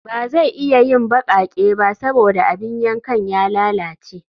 Ba zai iya yin baƙaƙe ba saboda abin yankan ya lalace